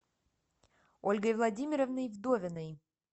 ольгой владимировной вдовиной